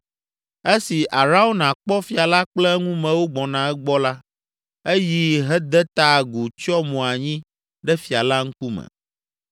Esi Arauna kpɔ fia la kple eŋumewo gbɔna egbɔ la, eyi hede ta agu tsyɔ mo anyi ɖe fia la ŋkume.